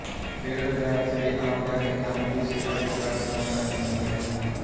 ਫੇਰ ਵਿਦਿਆਰਥੀਆਂ ਨੇ ਆਮ ਜਾਂ ਕਿੱਤਾਮੁਖੀ ਸਿੱਖਿਆ ਵਿੱਚਕਾਰ ਚੋਣ ਕਰਨੀ ਹੁੰਦੀ ਹੈ